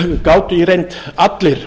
gátu í reynd allir